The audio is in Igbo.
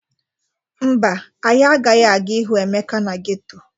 Mba, anyị agaghị aga ịhụ Emeka na geto.